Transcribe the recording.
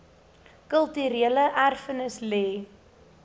kulturele erfenis lê